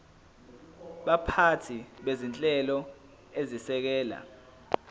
baphathi bezinhlelo ezisekela